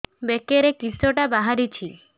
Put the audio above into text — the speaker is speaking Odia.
ବେକରେ କିଶଟା ବାହାରିଛି